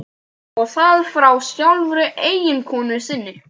Og það frá sjálfri eiginkonu sinni.